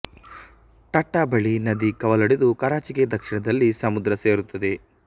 ಟಟ್ಟಾ ಬಳಿ ನದಿ ಕವಲೊಡೆದು ಕರಾಚಿಗೆ ದಕ್ಷಿಣದಲ್ಲಿ ಸಮುದ್ರ ಸೇರುತ್ತದೆ